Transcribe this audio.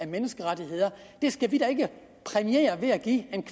menneskerettigheder og det skal vi da ikke præmiere ved at give en